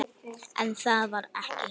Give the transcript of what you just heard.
En það var ekki.